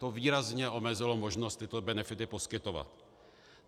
To výrazně omezilo možnost tyto benefity poskytovat.